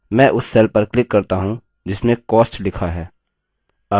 मैं उस cell पर click करता हूँ जिसमें cost लिखा है